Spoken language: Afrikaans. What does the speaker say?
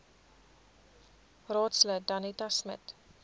raadslid danetta smit